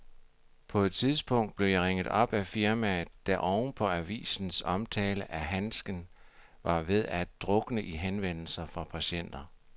På et tidspunkt blev jeg ringet op af firmaet, der oven på avisens omtale af handsken var ved at drukne i henvendelser fra patienter.